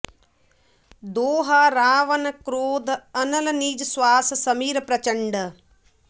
दोहा रावन क्रोध अनल निज स्वास समीर प्रचंड